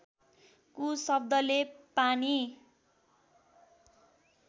कु शब्दले पानी